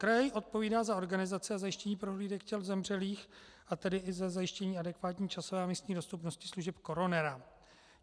Kraj odpovídá za organizaci a zajištění prohlídek těl zemřelých, a tedy i za zajištění adekvátní časové a místní dostupnosti služeb koronera.